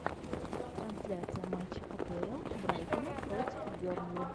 трансляция матча апл брайтона против бернли